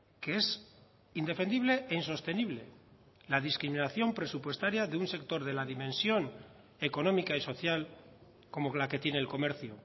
que es indefendible e insostenible la discriminación presupuestaria de un sector de la dimensión económica y social como la que tiene el comercio